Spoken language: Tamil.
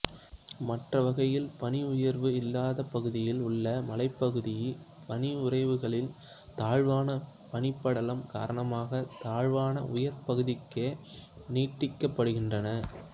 மற்றவகையில் பனியுறைவு இல்லாத பகுதிகளில் உள்ள மலைப்பகுதி பனியுறைவுகள் தாழ்வான பனிப்படலம் காரணமாக தாழ்வான உயர் பகுதிகளுக்கே நீட்டிக்கப்படுகின்றன